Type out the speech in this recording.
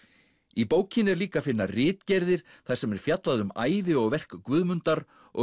í bókinni er líka að finna ritgerðir þar sem er fjallað um ævi og verk Guðmundar og